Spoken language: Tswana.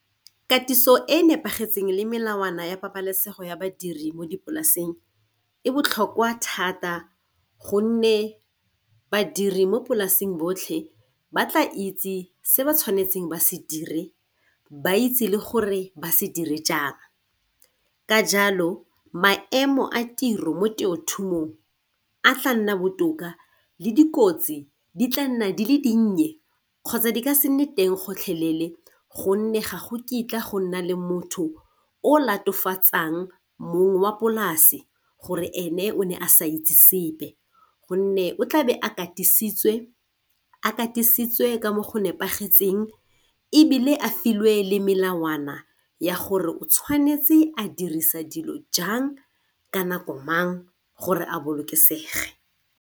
Katiso e nepagetseng le melawana ya pabalesego ya badiri mo dipolaseng e botlhokwa thata gonne badiri mo polaseng botlhe ba tla itse se ba tshwanetseng ba se dire ba itse le gore ba se dire jang. Ka jalo maemo a tiro mo temothuong a tla nna botoka le dikotsi di tla nna di le dinnye kgotsa di ka se nne teng gotlhelele gonne gago kitla go nna le motho o latofatsang mong wa polase gore ene o ne a sa itse sepe, gonne o tlabe a katisitswe a katisitswe ka mo go nepagetseng ebile a filwe le melawana ya gore o tshwanetse a dirisa dilo jang ka nako mang gore a bolokesegile.